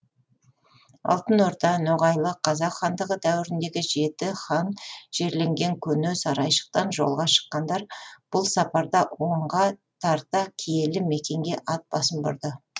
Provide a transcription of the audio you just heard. алтын орда ноғайлы қазақ хандығы дәуіріндегі жеті хан жерленген көне сарайшықтан жолға шыққандар бұл сапарда онға тарта киелі мекенге ат басын бұрды